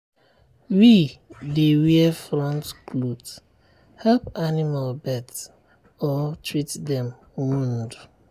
we dey wear front cloth help animal birth or treat dem wound